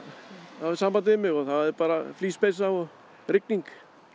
hafði samband við mig og það er bara flíspeysa og rigning